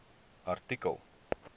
artikel